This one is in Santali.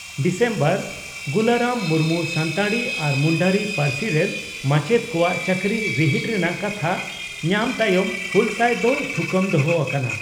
ᱰᱤᱥᱮᱢᱵᱚᱨ (ᱜᱩᱞᱟᱨᱟᱢ ᱢᱩᱨᱢᱩ ᱥᱟᱱᱛᱟᱲᱤ ᱟᱨ ᱢᱩᱱᱰᱟᱨᱤ ᱯᱟᱹᱨᱥᱤ ᱨᱮᱱ ᱢᱟᱪᱮᱛ ᱠᱚᱣᱟᱜ ᱪᱟᱹᱠᱨᱤ ᱨᱤᱦᱤᱴ ᱨᱮᱱᱟᱜ ᱠᱟᱛᱷᱟ ᱧᱟᱢ ᱛᱟᱭᱚᱢ ᱦᱩᱞᱥᱟᱹᱭ ᱫᱚ ᱛᱷᱩᱠᱟᱹᱢ ᱫᱚᱦᱚ ᱟᱠᱟᱱᱟ ᱾